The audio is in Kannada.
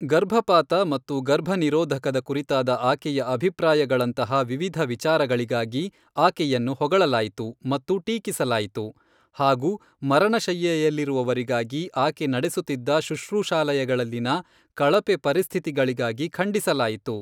ಗರ್ಭಪಾತ ಮತ್ತು ಗರ್ಭನಿರೋಧಕದ ಕುರಿತಾದ ಆಕೆಯ ಅಭಿಪ್ರಾಯಗಳಂತಹ ವಿವಿಧ ವಿಚಾರಗಳಿಗಾಗಿ ಆಕೆಯನ್ನು ಹೊಗಳಲಾಯಿತು ಮತ್ತು ಟೀಕಿಸಲಾಯಿತು ಹಾಗೂ ಮರಣಶಯ್ಯೆಯಲ್ಲಿರುವವರಿಗಾಗಿ ಆಕೆ ನಡೆಸುತ್ತಿದ್ದ ಶುಶ್ರೂಷಾಲಯಗಳಲ್ಲಿನ ಕಳಪೆ ಪರಿಸ್ಥಿತಿಗಳಿಗಾಗಿ ಖಂಡಿಸಲಾಯಿತು.